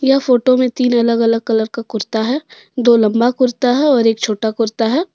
यह फोटो में तीन अलग- अलग कलर का कुर्ता है दो लंबा कुर्ता है और एक छोटा कुर्ता है।